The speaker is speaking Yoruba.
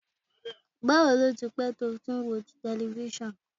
Bawo ni o ti pẹ to ti o ti n wo tẹlifisiọnu?